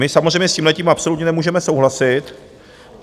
My samozřejmě s tímhletím absolutně nemůžeme souhlasit.